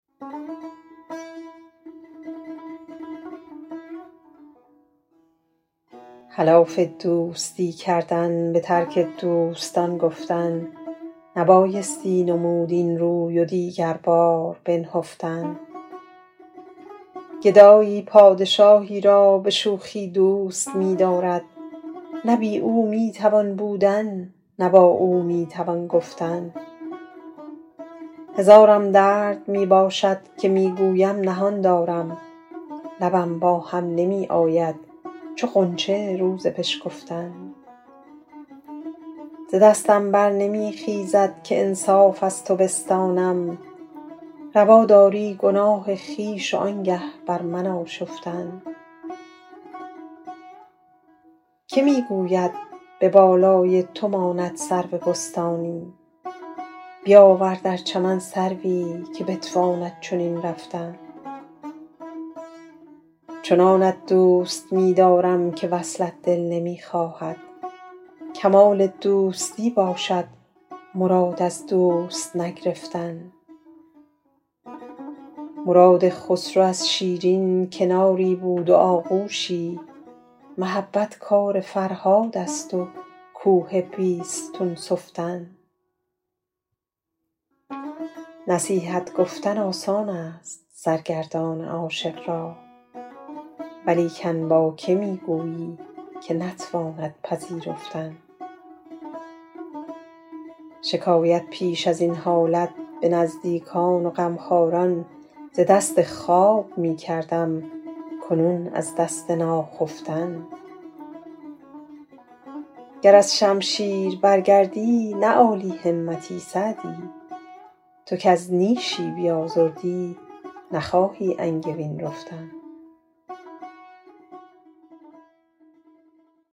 خلاف دوستی کردن به ترک دوستان گفتن نبایستی نمود این روی و دیگر باز بنهفتن گدایی پادشاهی را به شوخی دوست می دارد نه بی او می توان بودن نه با او می توان گفتن هزارم درد می باشد که می گویم نهان دارم لبم با هم نمی آید چو غنچه روز بشکفتن ز دستم بر نمی خیزد که انصاف از تو بستانم روا داری گناه خویش و آنگه بر من آشفتن که می گوید به بالای تو ماند سرو بستانی بیاور در چمن سروی که بتواند چنین رفتن چنانت دوست می دارم که وصلم دل نمی خواهد کمال دوستی باشد مراد از دوست نگرفتن مراد خسرو از شیرین کناری بود و آغوشی محبت کار فرهاد است و کوه بیستون سفتن نصیحت گفتن آسان است سرگردان عاشق را ولیکن با که می گویی که نتواند پذیرفتن شکایت پیش از این حالت به نزدیکان و غمخواران ز دست خواب می کردم کنون از دست ناخفتن گر از شمشیر برگردی نه عالی همتی سعدی تو کز نیشی بیازردی نخواهی انگبین رفتن